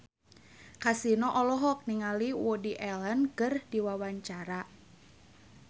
Kasino olohok ningali Woody Allen keur diwawancara